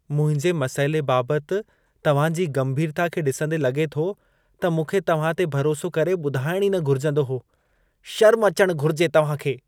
मुंहिंजे मसइले बाबति तव्हां जी गंभीरता खे ॾिसंदे लॻे थो, त मूंखे तव्हां ते भरोसो करे ॿुधाइण ई न घुरिजंदो हो। शर्म अचण घुरिजे तव्हां खे।